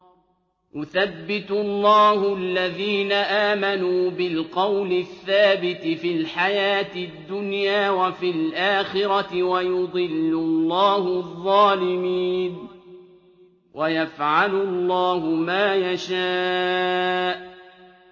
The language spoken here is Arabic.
يُثَبِّتُ اللَّهُ الَّذِينَ آمَنُوا بِالْقَوْلِ الثَّابِتِ فِي الْحَيَاةِ الدُّنْيَا وَفِي الْآخِرَةِ ۖ وَيُضِلُّ اللَّهُ الظَّالِمِينَ ۚ وَيَفْعَلُ اللَّهُ مَا يَشَاءُ